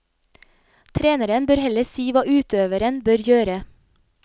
Treneren bør heller si hva utøveren bør gjøre.